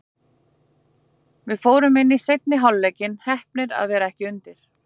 Við fórum inn í seinni hálfleikinn, heppnir að vera ekki undir.